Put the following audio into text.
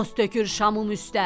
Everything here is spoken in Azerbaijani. Toz tökür şamın üstə?